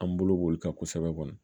An bolo b'olu kan kosɛbɛ kɔni